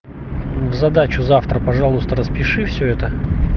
задачу завтра пожалуйста распиши всё это